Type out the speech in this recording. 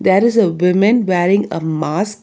There is a woman wearing a mask.